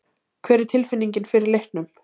Hvernig er tilfinningin fyrir leiknum?